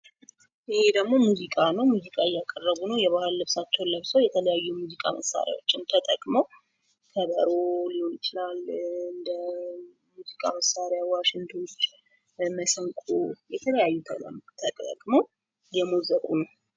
ይህ ደግሞ ሙዚቃ ነው። ሙዚቃ እያቀረቡ ነው። የባህል ልብሳቸውን ለብሰው የተለያዩ የሙዚቃ መሳሪያዎች ተጠቅመው ከበሮ ሊሆን ይችላል እንደ ሙዚቃ መሳሪያ ዋሽንቶች፣ መሰንቆ የተለያዩ ተጠቅመው እየሞዘቁ ነው።